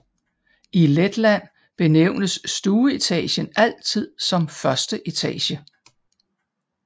I Letland benævnes stueetagen altid som første etage